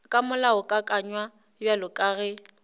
ka molaokakanywa bjalo ka ge